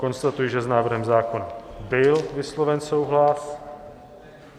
Konstatuji, že s návrhem zákona byl vysloven souhlas.